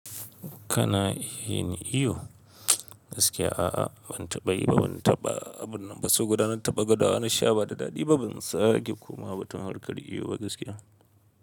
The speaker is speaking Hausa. Kana yin iyo? Gaskiya a'a, ban taɓa yi ba, ban taɓa abun nan ba. So guda na taɓa gwada wa na sha ba da daɗi ba, ban sake kuma ba, tun harkar iyo ba gaskiya.